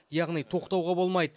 яғни тоқтауға болмайды